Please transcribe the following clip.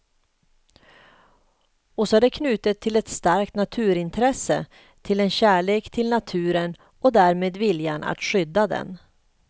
Och så är det knutet till ett starkt naturintresse, till en kärlek till naturen och därmed viljan att skydda den.